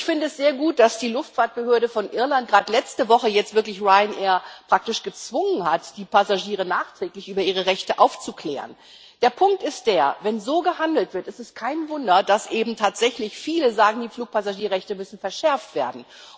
Ich finde es sehr gut, dass die Luftfahrtbehörde in Irland gerade letzte Woche Ryanair wirklich praktisch dazu gezwungen hat, die Passagiere nachträglich über ihre Rechte aufzuklären. Der Punkt ist der Wenn so gehandelt wird, ist es kein Wunder, dass eben tatsächlich viele sagen Die Fluggastrechte müssen verschärft werden.